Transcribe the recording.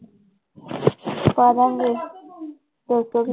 ਪਾ ਦੇਵਾਂਗੀ ਦੋ ਸੌ ਵੀ।